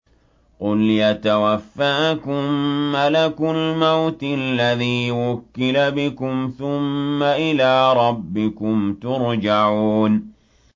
۞ قُلْ يَتَوَفَّاكُم مَّلَكُ الْمَوْتِ الَّذِي وُكِّلَ بِكُمْ ثُمَّ إِلَىٰ رَبِّكُمْ تُرْجَعُونَ